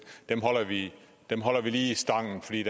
holder vi lige stangen fordi